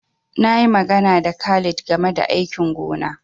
Na yi magana da Khalid game da aikin gona.